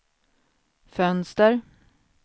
fönster